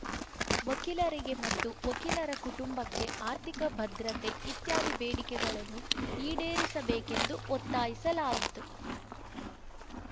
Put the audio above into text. ವಕೀಲರಿಗೆ ಮತ್ತು ವಕೀಲರ ಕುಟುಂಬಕ್ಕೆ ಆರ್ಥಿಕ ಭದ್ರತೆ ಇತ್ಯಾದಿ ಬೇಡಿಕೆಗಳನ್ನು ಈಡೇರಿಸಬೇಕೆಂದು ಒತ್ತಾಯಿಸಲಾಯಿತು